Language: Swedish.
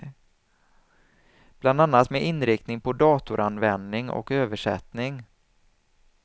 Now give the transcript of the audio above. Bland annat med inriktning på datoranvändning och översättning.